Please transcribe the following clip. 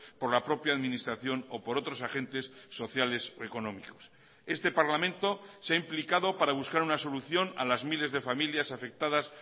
por la propia administración o por otros agentes sociales económicos este parlamento se ha implicado para buscar una solución a las miles de familias afectadas